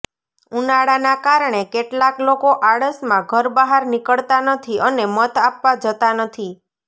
ઉનાળાના કારણે કેટલાક લોકો આળસમાં ઘર બહાર નીકળતા નથી અને મત આપવા જતા નથી